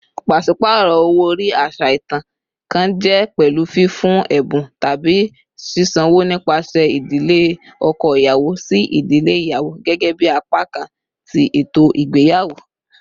Paṣipaarọ owo-ori, aṣa itan kan, jẹ pẹlu fifun ẹbun tabi sisanwo nipasẹ idile ọkọ iyawo si idile iyawo gẹgẹbi apakan ti eto igbeyawo.